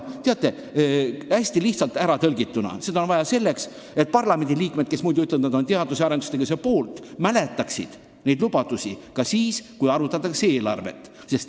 Hästi lihtsalt ära tõlgituna: seda on vaja selleks, et parlamendiliikmed, kes muidu ütlevad, et nad on teadus- ja arendustegevuse poolt, mäletaksid neid lubadusi ka siis, kui arutatakse eelarvet.